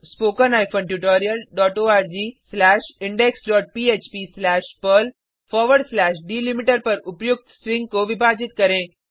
scriptspoken tutorialorgindexphpपर्ल delimiter पर उपर्युक्त स्ट्रिंग को विभाजित करें